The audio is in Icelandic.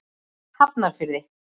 Hafnarfirði